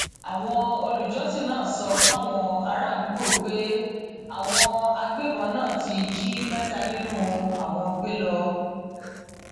ẹka ẹkọ tí wọn ti ń kọ nípa ìtajà marketing ni ọdọmọdébìnrin ọhún wà níléèwé náà